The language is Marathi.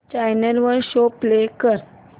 चॅनल वर शो प्ले कर